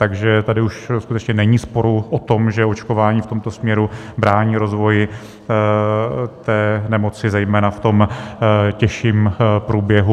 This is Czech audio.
Takže tady už skutečně není sporu o tom, že očkování v tomto směru brání rozvoji té nemoci zejména v tom těžším průběhu.